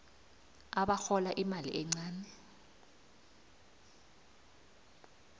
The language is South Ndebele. abarhola imali encani